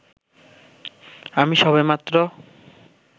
আমি সবেমাত্র